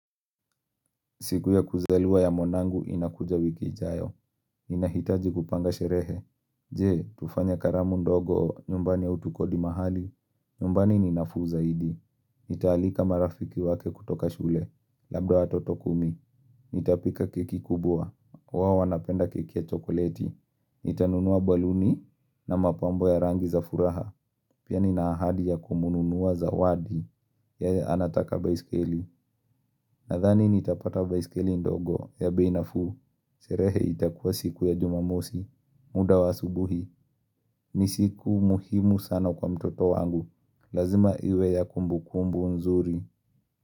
Siku ya kuzaliwa ya mwanangu inakuja wiki ijayo. Ninahitaji kupanga sherehe. Je, tufanye karamu ndogo nyumbani au tukodi mahali. Nyumbani ni nafuu zaidi. Nitaalika marafiki wake kutoka shule. Labda watoto kumi. Nitapika keki kubwa. Wao wanapenda keki ya chokoleti. Nitanunua baluni na mapambo ya rangi za furaha. Pia nina ahadi ya kumnunua zawadi yeye anataka baiskeli. Nathani nitapata baiskeli ndogo ya bei nafuu. Sherehe itakuwa siku ya jumamosi. Muda wa asubuhi ni siku muhimu sana kwa mtoto wangu. Lazima iwe ya kumbukumbu nzuri.